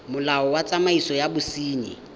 molao wa tsamaiso ya bosenyi